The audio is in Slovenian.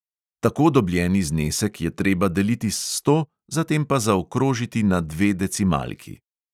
Tako dobljeni znesek je treba deliti s sto, zatem pa zaokrožiti na dve decimalki.